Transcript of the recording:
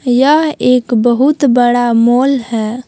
यह एक बहुत बड़ा मॉल है।